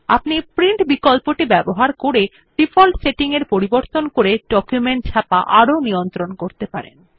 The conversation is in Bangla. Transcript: আপনি প্রিন্ট বিকল্পটি ব্যবহার করে ডিফল্ট সেটিং পরিবর্তন করে ডকুমেন্ট ছাপা আরও নিয়ন্ত্রণ করতে পারেন